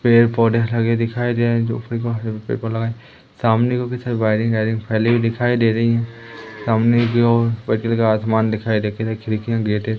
पेड़ पौधे लगे दिखाई दे रहे हैं जो कि सामने की ओर वायरिंग आयरिंग फैली हुई दिखाई दे रही है सामने की ओर का आसमान दिखाई दे के खिड़कियां गेट है।